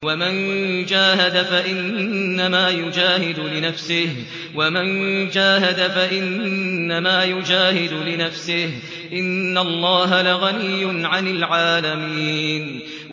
وَمَن جَاهَدَ فَإِنَّمَا يُجَاهِدُ لِنَفْسِهِ ۚ إِنَّ اللَّهَ لَغَنِيٌّ عَنِ الْعَالَمِينَ